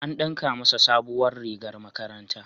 An ɗinka masa sabuwar rigar makaranta.